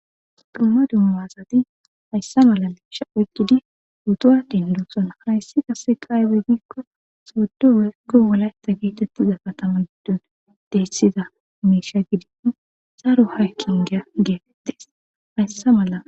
Dumma dumma asati hayssa mala liisha oykkidi guddowa dendoson harayssi qase qaaybe giikko soddo werko wolayta geetettiza katama giddon dehessida miisha gidinno saaro hakkin geya geefettes hayssa mala.